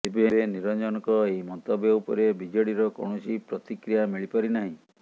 ତେବେ ନିରଞ୍ଜନଙ୍କ ଏହି ମନ୍ତବ୍ୟ ଉପରେ ବିଜେଡିର କୌଣସି ପ୍ରତିକ୍ରିୟା ମିଳି ପାରି ନାହିଁ